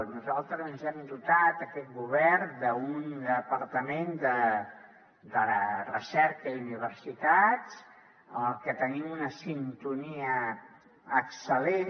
nosaltres ens hem dotat aquest govern d’un departament de recerca i universitats amb el que tenim una sintonia excel·lent